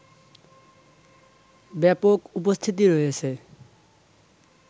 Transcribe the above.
ব্যাপক উপস্থিতি রয়েছে